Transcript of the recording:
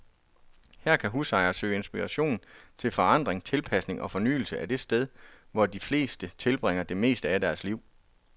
Her kan husejere søge inspiration til forandring, tilpasning og fornyelse af det sted, hvor de fleste tilbringer det meste af deres liv.